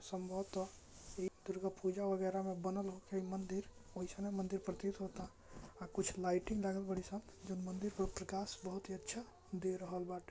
संवोटों ये दुर्गा पूजा वगरे म बना हुवा मंदिर वैष्णव मंदिर प्रतीत होता कुछ लाइटिंग दल बडिसम जो मंदिर का प्रकाश बोहोत अच्छा दे रहलबा।